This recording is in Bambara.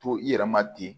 To i yɛrɛ ma ten